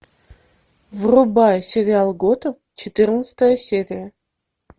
врубай сериал готэм четырнадцатая серия